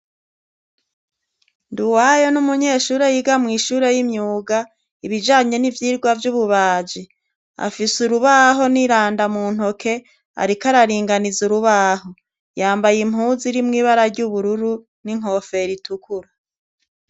nduwayo n'umunyeshure yiga mw'ishure y'imyuga ibijanye n'ivyirwa vy'ububaji afise urubaho n'iranda muntoke ariko araringaniza urubaho yambaye impuzu irimwo ibara ry'ubururu n'inkoferi itukuru